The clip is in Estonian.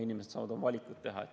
Inimesed saavad siis oma valikud teha.